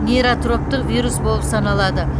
нейротроптық вирус болып саналады